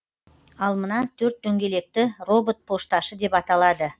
ал мына төрт дөңгелекті робот пошташы деп аталады